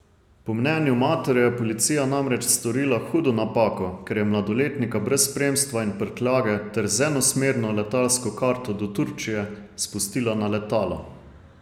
Po mnenju matere je policija namreč storila hudo napako, ker je mladoletnika brez spremstva in prtljage ter z enosmerno letalsko karto do Turčije spustila na letalo.